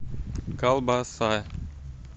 колбаса